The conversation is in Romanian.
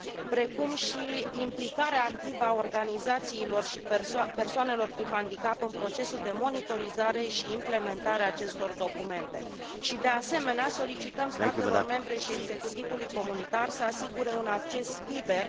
precum și implicarea activă a organizațiilor și persoanelor cu handicap în procesul de monitorizare și implementare a acestor documente și, de asemenea, solicităm statelor membre și executivului comunitar să asigure un acces liber și difuzarea